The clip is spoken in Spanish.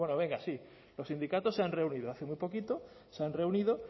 bueno venga sí los sindicatos se han reunido hace muy poquito se han reunido